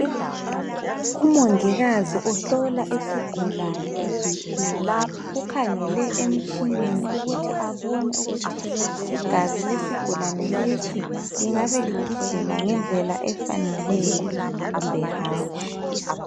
Umongikazi uhlola isigulane iBp, ukhangele emtshineni ukuthi abone ukuthi igazi lesigulane lesi lingabe lihamba ngendlela efaneleyo kumbe hatshi.